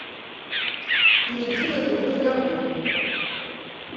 перейди в игру разговор